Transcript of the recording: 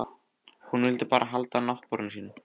Hún vill bara halda náttborðinu sínu.